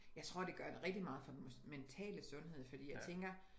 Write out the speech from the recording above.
Jeg tror det gør rigtig meget for den mentale sundhed fordi jeg tænker